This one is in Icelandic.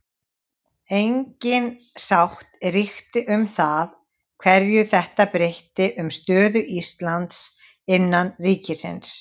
Engin sátt ríkti um það hverju þetta breytti um stöðu Íslands innan ríkisins.